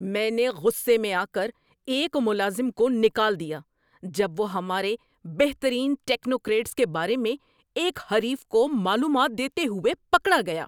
میں نے غصے میں آ کر ایک ملازم کو نکال دیا جب وہ ہمارے بہترین ٹیکنوکریٹس کے بارے میں ایک حریف کو معلومات دیتے ہوئے پکڑا گیا۔